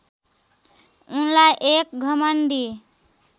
उनलाई एक घमण्डी